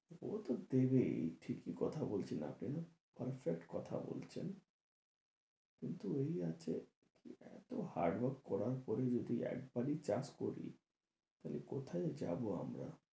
ও তো দেবেই ঠিকই কথা বলছেন আপনি perfect কথা বলছেন কিন্তু ওই আছে এত hard work করার পরে যদি একবারই চাষ করি তা হলে কোথায় যাবো আমরা?